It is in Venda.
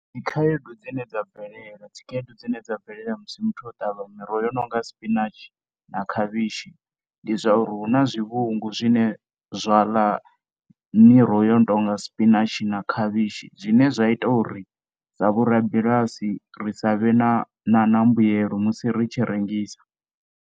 Dzi khaedu dzi ne dza bvelela dzi khaedu dzi ne dza bvelela musi muthu o tavha miroho i nonga spinach na khavhishi ndi zwauri hu na zwivhungu zwine zwa ḽa miroho i nonga spinach na khavhishi zwine zwa ita uri sa vhorabulasi ri sa vhe na na mbuelo musi ri tshi rengisa.